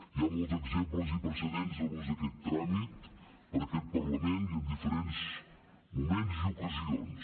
hi ha molts exemples i precedents de l’ús d’aquest tràmit per aquest parlament i en diferents moments i ocasions